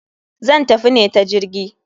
Zan tafi ne ta jirgi.